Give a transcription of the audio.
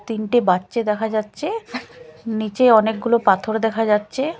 তিনটে বাচ্চে দেখা যাচ্চে নীচে অনেকগুলো পাথর দেখা যাচ্চে।